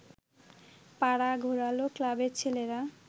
পাড়া ঘোরাল ক্লাবের ছেলেরা